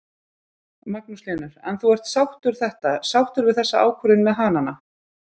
Magnús Hlynur: En þú ert sáttur þetta, sáttur við þessa ákvörðun með hanana?